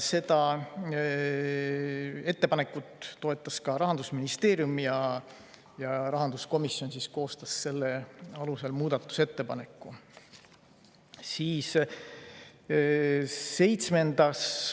Seda ettepanekut toetas ka Rahandusministeerium ja rahanduskomisjon koostas selle alusel muudatusettepaneku.